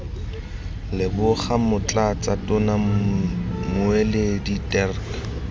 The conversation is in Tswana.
leboga motlatsa tona mmueledi dirk